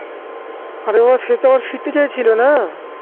আরে বাবা সে তো আর ফিরতে চাইছি ল না.